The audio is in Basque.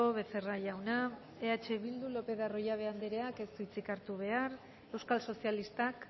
becerra jauna eh bildu lopez de arroyabe andereak ez du hitzik hartu behar euskal sozialistak